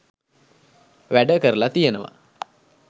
වැඩ කරලා තියෙනවා